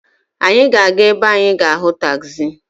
Anyị ga-aga ebe anyị ga-ahụ tagzi.